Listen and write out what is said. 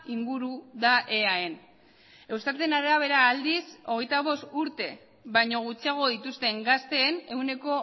inguru da eaen eustaten arabera aldiz hogeita bost urte baino gutxiago dituzten gazteen ehuneko